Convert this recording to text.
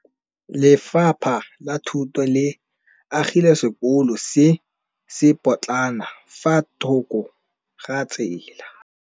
Lefapha la Thuto le agile sekôlô se se pôtlana fa thoko ga tsela.